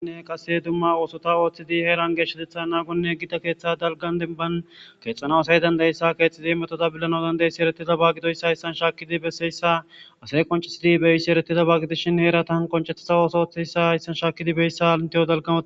Qasse dumma oosota ooththidi heelan geeshetetha naagonne gida keeththe dalgan denban keexxana asay dandayyssa keexxidi metoda billano dandayssi eretiza baggidoyssa hayssan shaakidi besseyssa asey qoncisidi beyssi eretiza baagidishin heeratan qonchetiza oosoththeyssa hayssan shaakidi beyssa alinteyo dalgam.